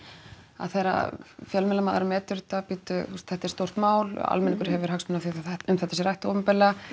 að þegar að fjölmiðlamaður metur þetta bíddu þú þetta er stórt mál almenningur hefur hagsmuni af því að um þetta sé rætt opinberlega